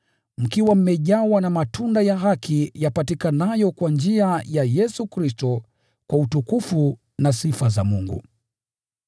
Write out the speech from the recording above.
mkiwa mmejawa na matunda ya haki yapatikanayo kwa njia ya Yesu Kristo, kwa utukufu na sifa za Mungu.